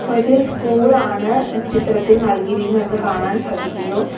ഒരു സ്കൂളാണ് ചിത്രത്തിൽ നൽകിയിരിക്കുന്നതെന്ന് കാണാൻ സാധിക്കുന്നു.